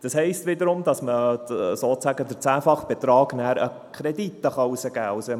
Das heisst wiederum, dass man sozusagen den zehnfachen Betrag an Krediten herausgeben kann.